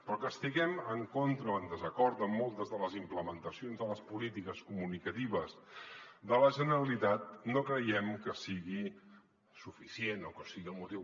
però que estiguem en contra o en desacord amb moltes de les implementacions de les polítiques comunicatives de la generalitat no creiem que sigui suficient o que sigui el motiu